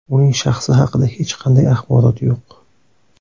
Uning shaxsi haqida hech qanday axborot yo‘q.